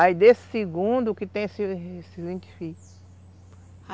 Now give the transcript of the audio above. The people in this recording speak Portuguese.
Aí desse segundo que tem esses esses vinte filhos.